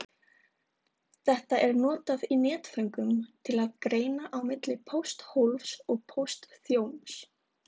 þetta er notað í netföngum til að greina á milli pósthólfs og póstþjóns